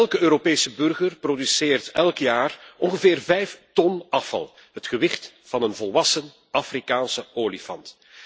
Elke Europese burger produceert jaarlijks ongeveer vijf ton afval het gewicht van een volwassen Afrikaanse olifant.